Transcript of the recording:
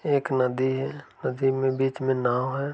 एक नदी है। नदी में बीच में एक नाव है।